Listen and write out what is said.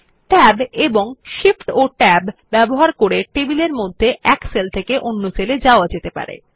tab এবং Shift Tab ব্যবহার করে টেবিলের মধ্যে এক সেল থেকে অন্য সেল এ যাওয়া যেতে পারে